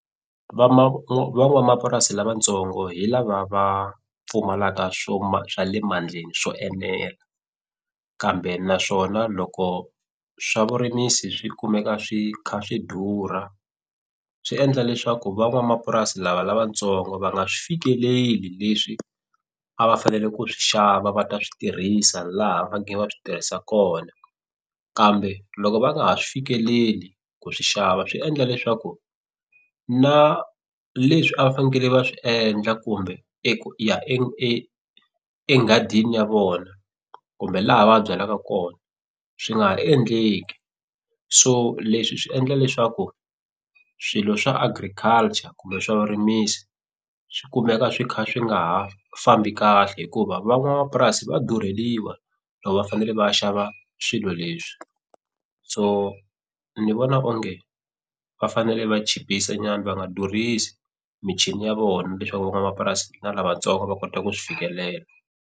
van'wamapurasi lavatsongo hi lava va pfumalaka swo ma swa le mandleni swo enela kambe naswona loko swa vurimisi swi kumeka swi kha swi durha swi endla leswaku van'wamapurasi lava lavatsongo va nga swi fikeleli leswi a va fanele ku swi xava va ta swi tirhisa laha va nge va swi tirhisa kona kambe loko va nga ha swi fikeleli ku swi xava swi endla leswaku na leswi a fanekele va swi endla kumbe enghadini ya vona kumbe laha va byalaka kona swi nga ha endleki so leswi swi endla leswaku swilo swa agriculture kumbe swa vurimisi swikumeka swi kha swi nga ha fambi kahle hikuva van'wamapurasi va durheliwa loko va fanele va ya xava swilo leswi so ni vona onge va fanele va chipisa nyana va nga durhisi michini ya vona leswaku van'wanamapurasi na lavatsongo va kota ku swi fikelela.